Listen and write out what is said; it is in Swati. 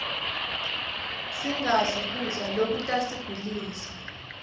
sinqabli kubla lokutasigulisa